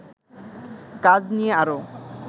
কাজ নিয়ে আরো